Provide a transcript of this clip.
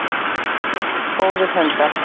Góður hundur.